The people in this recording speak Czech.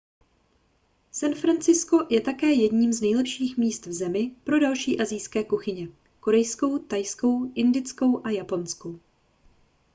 san francisco je také jedním z nejlepších míst v zemi pro další asijské kuchyně korejskou thajskou indickou a japonskou